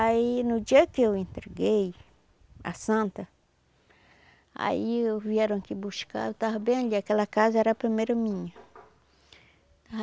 Aí, no dia que eu entreguei a santa, aí vieram aqui buscar, eu tava bem ali, aquela casa era a primeira minha.